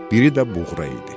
biri də Buğra idi.